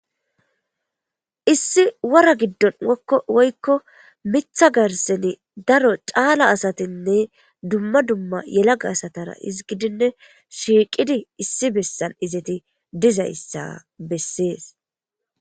Issi wora giddon okko woykko mitha garseni daro caala asatinne dumma dumma yelaga asatara izgidinne shiiqidi issi bessan izeti dizayssa bessees.